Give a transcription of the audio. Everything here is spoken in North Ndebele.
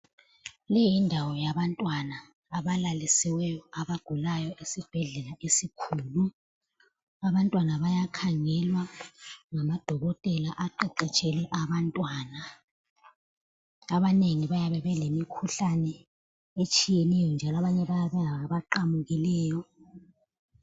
Leyi yindawo yabantwana abalalisiweyo abagulayo esibhedlela esikhulu, abantwana bayakhangelwa ngamadokotela aqeqetshele abantwana. Abanengi bayabe belemikhuhlane etshiyeneyo njalo abanye bayabe bengaba qamukileyo.